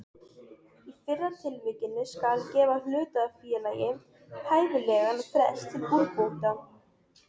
Í fyrra tilvikinu skal gefa hlutafélagi hæfilegan frest til úrbóta.